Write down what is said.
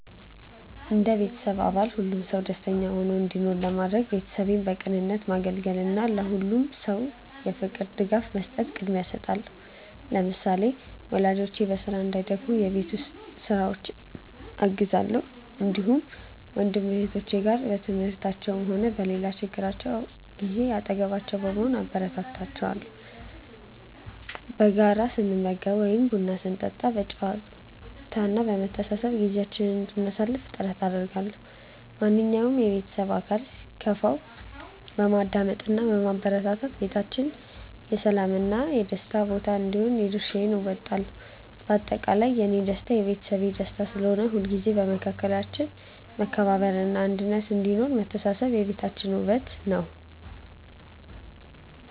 እንደ ቤተሰብ አባል ሁሉም ሰው ደስተኛ ሆኖ እንዲኖር ለማድረግ፣ ቤተሰቤን በቅንነት ማገልገልን እና ለሁሉም ሰው የፍቅር ድጋፍ መስጠትን ቅድሚያ እሰጣለሁ። ለምሳሌ፣ ወላጆቼ በስራ እንዳይደክሙ የቤት ውስጥ ስራዎችን አግዛለሁ፣ እንዲሁም ከወንድም እህቶቼ ጋር በትምህርታቸውም ሆነ በሌላ ችግራቸው ጊዜ አጠገባቸው በመሆን አበረታታቸዋለሁ። በጋራ ስንመገብ ወይም ቡና ስንጠጣ በጨዋታ እና በመተሳሰብ ጊዜያችንን እንድናሳልፍ ጥረት አደርጋለሁ። ማንኛውም የቤተሰብ አባል ሲከፋው በማዳመጥ እና በማረጋጋት ቤታችን የሰላም እና የደስታ ቦታ እንዲሆን የድርሻዬን እወጣለሁ። በአጠቃላይ፣ የእኔ ደስታ የቤተሰቤ ደስታ ስለሆነ፣ ሁልጊዜም በመካከላችን መከባበር እና አንድነት እንዲኖር አደርጋለሁ። መተሳሰብ የቤታችን ውበት ነው።